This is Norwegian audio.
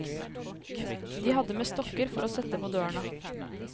De hadde med stokker for å sette på dørene.